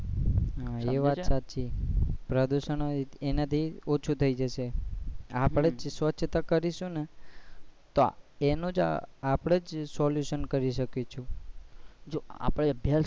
હા એ વાત તારી સાચી પ્રદુશન એના થી ઓછું થઇ જશે આપડે જ સ્વછતા કરીશુ ને તો એનુ જ આપડે જ solution કરી શકીશું છીએ જો આપડે અભ્યાસ